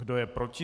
Kdo je proti?